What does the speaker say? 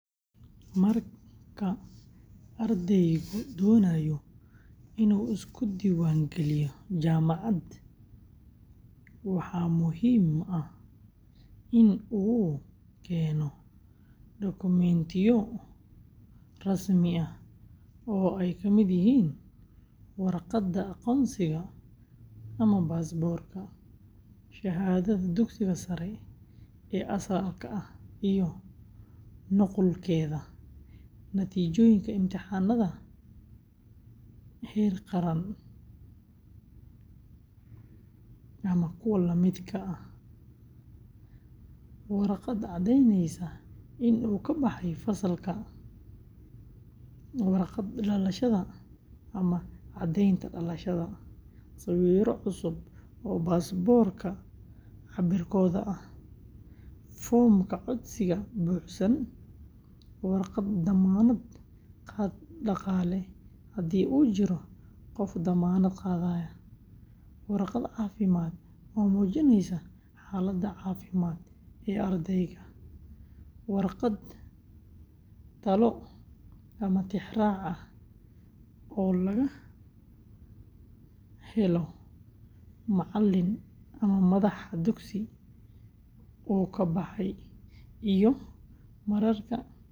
Marka ardaygu doonayo inuu isku diiwaangeliyo jaamacad, waxaa muhiim ah in uu keeno dukumiintiyo rasmi ah oo ay ka mid yihiin: warqadda aqoonsiga ama baasaboorka, shahaadada dugsiga sare ee asalka ah iyo nuqulkeeda, natiijooyinka imtixaannada heer qaran ama kuwa la midka ah, warqad caddeyneysa in uu ka baxay fasalka, warqad dhalashada ama caddaynta dhalashada, sawirro cusub oo baasaboorka cabbirkooda ah, foomka codsiga buuxsan, warqad dammaanad qaad dhaqaale haddii uu jiro qof damaanad qaaday, warqad caafimaad oo muujinaysa xaaladda caafimaad ee ardayga, warqad talo ama tixraac ah oo laga helo macallin ama madax dugsigii uu ka baxay.